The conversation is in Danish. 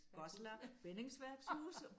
Goslar bindingsværkshuse